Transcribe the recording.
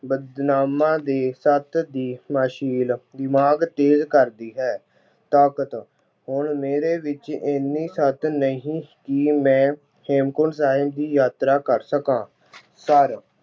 ਬਦਾਮਾਂ ਦੇ ਤੱਤ ਦੀ ਮਾਸ਼ੀਲ ਦਿਮਾਗ ਤੇਜ਼ ਕਰਦੀ ਹੈ। ਤਾਕਤ- ਹੁਣ ਮੇਰੇ ਵਿੱਚ ਐਨੀ ਤੱਤ ਨਹੀਂ ਕਿ ਮੈਂ ਹੇਮਕੁੱੰਟ ਸਾਹਿਬ ਦੀ ਯਾਤਰਾ ਕਰ ਸਕਾਂ। ਸਰ-